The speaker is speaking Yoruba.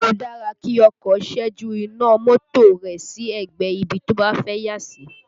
Ó dára kí ọkọ ṣẹ́jú iná mọ́tò rẹ̀ sí ẹ̀gbẹ́ ibi tí ó fẹ́ yà sí